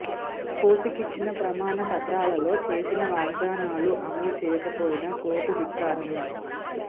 కోర్టుకిచ్చిన ప్రమాణ పత్రాలలో చేసిన వాగ్దానాలు అమలు చేయకపోయినా కోర్టు ధిక్కా రమే